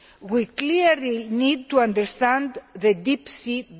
We clearly need to better understand the deep sea.